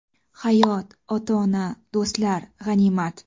Hayot, ota-ona, do‘stlar... g‘animat!